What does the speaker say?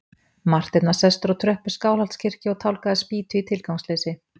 Marteinn var sestur á tröppur Skálholtskirkju og tálgaði spýtu í tilgangsleysi.